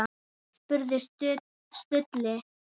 spurði Stulli.